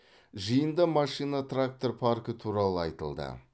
жиында машина трактор паркі туралы айтылды